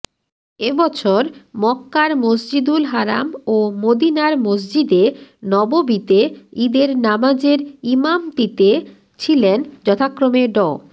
এ বছর মক্কার মসজিদুল হারাম ও মদিনার মসজিদে নববীতে ঈদের নামাজের ইমামতিতে ছিলেন যথাক্রমে ড